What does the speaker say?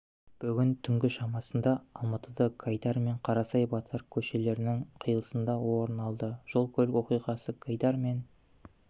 бүгін түнгі шамасында алматыда гайдар мен қарасай батыр көшелерінің қиылысында орын алды жол-көлік оқиғасы гайдар мен